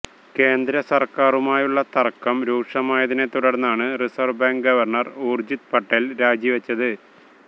കേന്ദ്രസര്ക്കാരുമായുള്ള തര്ക്കം രൂക്ഷമായതിനെത്തുടര്ന്നാണ് reserve bank governor Urjit Patel രാജിവെച്ചത്